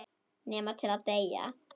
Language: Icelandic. Nema til að deyja.